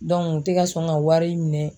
u tɛ ka sɔn ka wari minɛ.